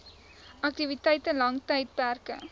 aktiwiteite lang tydperke